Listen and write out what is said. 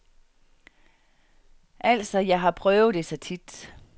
Altså, jeg har jo prøvet det så tit.